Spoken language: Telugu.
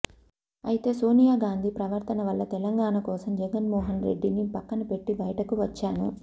అయితే సోనియాగాంధీ ప్రవర్తన వల్ల తెలంగాణ కోసం జగన్మోహన్ రెడ్డి ని పక్కనబెట్టి బయటకు వచ్చాను